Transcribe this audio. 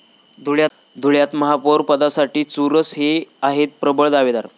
धुळ्यात महापौर पदासाठी चुरस, हे आहेत प्रबळ दावेदार!